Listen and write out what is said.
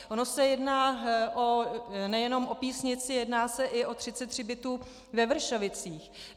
Ono se jedná nejenom o Písnici, jedná se i o 33 bytů ve Vršovicích.